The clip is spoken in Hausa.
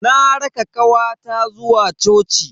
Na raka kawata zuwa coci.